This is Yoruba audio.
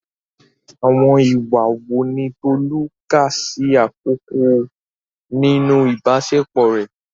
Àwọn ìwà wo ni Tolu kà sí àkọ́kọ́ nínú ìbáṣepọ̀ rẹ̀?